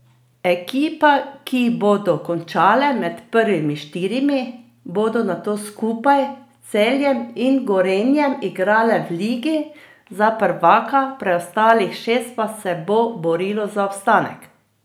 Ekipe, ki bodo končale med prvimi štirimi, bodo nato skupaj s Celjem in Gorenjem igrale v ligi za prvaka, preostalih šest pa se bo borilo za obstanek.